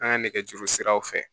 An ka nɛgɛjuru siraw fɛ